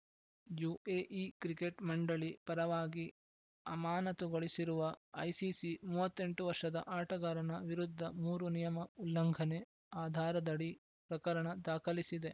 UAE cricket ಮಂಡಳಿ ಪರವಾಗಿ ಅಮಾನತುಗೊಳಿಸಿರುವ ಐಸಿಸಿ ಮೂವತ್ತ್ ಎಂಟು ವರ್ಷದ ಆಟಗಾರನ ವಿರುದ್ಧ ಮೂರು ನಿಯಮ ಉಲ್ಲಂಘನೆ ಆಧಾರದಡಿ ಪ್ರಕರಣ ದಾಖಲಿಸಿದೆ